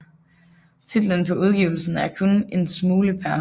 Titlen på udgivelsen er Kun 1 Smule Pr